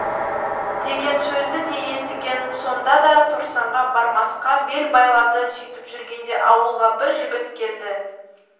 деген сөзді де естіген сонда да торсанға бармасқа бел байлады сөйтіп жүргенде ауылға бір жігіт келді